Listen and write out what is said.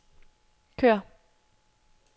kør